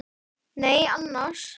Nei annars.